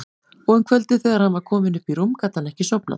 Og um kvöldið þegar hann var kominn upp í rúm gat hann ekki sofnað.